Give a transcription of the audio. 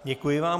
Děkuji vám.